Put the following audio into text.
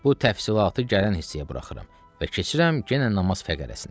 Bu təfsilatı gələn hissəyə buraxıram və keçirəm yenə namaz fəqərəsinə.